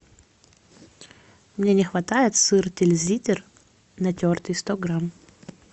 мне не хватает сыр тильзитер натертый сто грамм